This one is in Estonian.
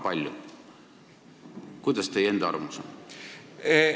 Mis teie enda arvamus on?